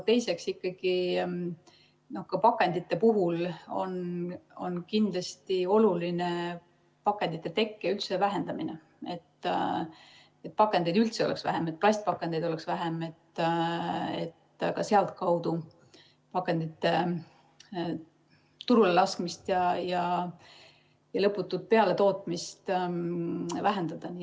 Teiseks on ikkagi pakendite puhul kindlasti oluline nende tekke vähendamine, see, et pakendeid oleks üldse vähem, plastpakendeid oleks vähem, et ka sealtkaudu pakendite turule laskmist ja lõputut juurdetootmist vähendada.